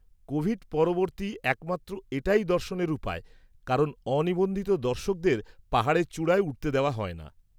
-Covid পরবর্তী একমাত্র এটাই দর্শনের উপায় কারণ অনিবন্ধিত দর্শকদের পাহাড়ের চূড়ায় উঠতে দেওয়া হয়না।